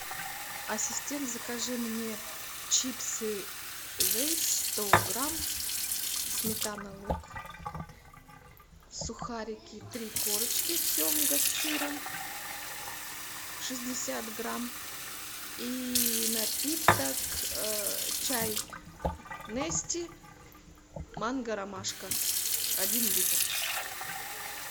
ассистент закажи мне чипсы лейс сто грамм сметана лук сухарики три корочки семга с сыром шестьдесят грамм и напиток чай нести манго ромашка один литр